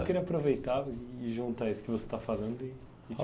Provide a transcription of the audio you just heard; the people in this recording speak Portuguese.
Eu queria aproveitar e juntar isso que você está falando e te perguntar.